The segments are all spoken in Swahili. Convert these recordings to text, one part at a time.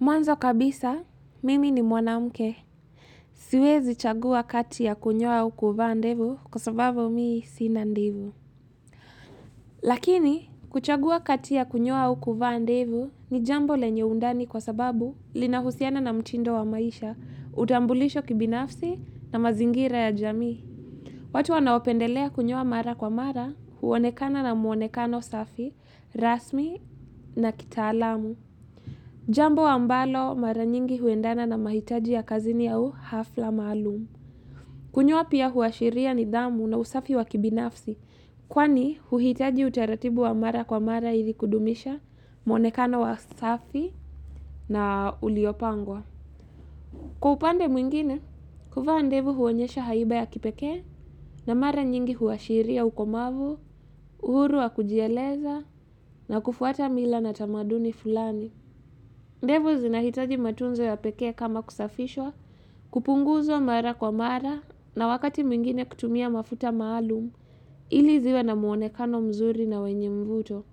Mwanzo kabisa, mimi ni mwanamke. Siwezi chagua kati ya kunyoa au kuvaa ndevu kwa sababu mimi sina ndevu. Lakini, kuchagua kati ya kunyoa au kuvaa ndevu ni jambo lenye undani kwa sababu linahusiana na mtindo wa maisha, utambulisho kibinafsi na mazingira ya jamii. Watu wanaopendelea kunyoa mara kwa mara, huonekana na muonekano safi, rasmi na kitaalamu. Jambo ambalo mara nyingi huendana na mahitaji ya kazini au hafla maalum. Kunyoa pia huashiria nidhamu na usafi wa kibinafsi kwani huhitaji utaratibu wa mara kwa mara ili kudumisha, muonekana wa safi na uliopangwa. Kwa upande mwingine, kuvaa ndevu huonyesha haiba ya kipekee na mara nyingi huashiria ukomavu, uhuru wa kujieleza na kufuata mila na tamaduni fulani. Ndevu zinahitaji matunzo ya pekee kama kusafishwa kupunguzwa mara kwa mara na wakati mwingine kutumia mafuta maalumu ili ziwe na muonekano mzuri na wenye mvuto.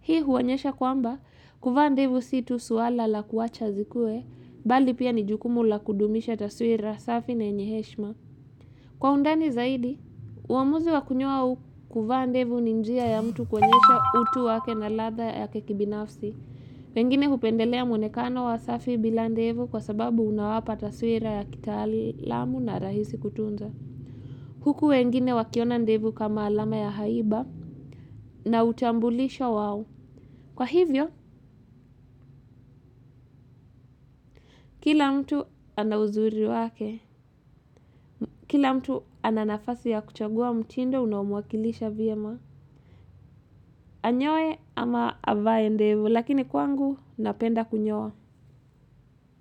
Hii huonyesha kwamba, kuvandevu si tu swala la kuwacha zikue, bali pia ni jukumu la kudumisha taswira, safi na yenye heshima. Kwa undani zaidi, uamuzi wa kunyoa au kuvaa ndevu ni njia ya mtu kuonyesha utu wake na ladha ya kibinafsi. Wengine hupendelea mwonekano wa safi bila ndevu kwa sababu unawapa taswira ya kitaalamu na rahisi kutunza. Huku wengine wakiona ndevu kama alama ya haiba na utambulisho wao. Kwa hivyo, kila mtu ana uzuri wake, kila mtu ana nafasi ya kuchagua mtindo unaomwakilisha vyema. Anyoe ama avae ndevu lakini kwangu napenda kunyoa.